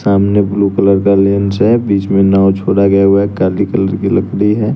सामने blue colour का lens है बीच में नाव छोड़ा गया हुआ है काली कलर की लकड़ी है।